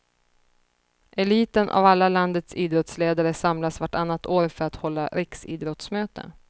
Eliten av alla landets idrottsledare samlas vartannat år för att hålla riksidrottsmöte.